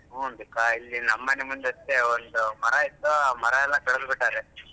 ಹ್ಮ್ ಅಂಬಿಕಾ ಇಲ್ಲಿ ನಮ್ ಮನೆ ಮುಂದೆ ಅಷ್ಟೇ ಒಂದು ಮರ ಇತ್ತು ಮರ ಎಲ್ಲಾ ಕಾಡ್ದ್ಬಿಟ್ಟಾರೆ.